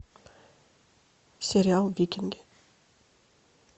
сериал викинги